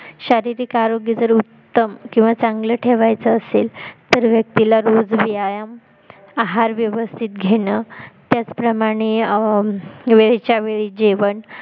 शारीरिक आरोग्य जर उत्तम किंवा चांगल ठेवायच असेल तर व्यक्तीला रोज व्यायाम आहार व्यवस्तीत घेण त्याचप्रमाणे अं वेळच्या वेळी जेवण